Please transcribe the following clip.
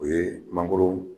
O ye mangoron